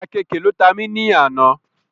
Àkeekè ló ta mí nù àná